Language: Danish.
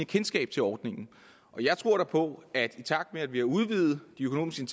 kendskab til ordningen jeg tror på at i takt med at vi har udvidet de økonomiske